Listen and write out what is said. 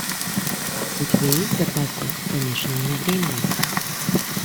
у тебя есть в запасе помешанный на времени